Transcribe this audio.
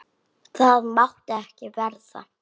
Það mátti ekki verða.